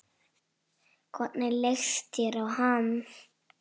Hvernig leist þér á hann?